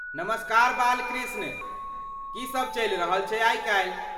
नमस्कार बालकृष्ण, की सब चलि रहल छै आइ काल्हि?